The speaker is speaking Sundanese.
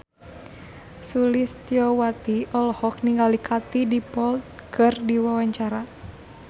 Sulistyowati olohok ningali Katie Dippold keur diwawancara